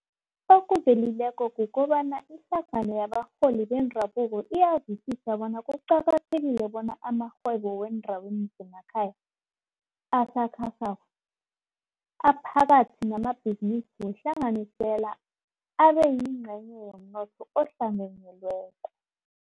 Okuvelileko kukobana ihlangano yabarholi bendabuko iyazwisisa bona kuqakathekile bona amarhwebo weendaweni zemakhaya, asakhasako, aphakathi namabhizinisi wehlanganisela abeyingcenye yomnotho ohlanganyelweko.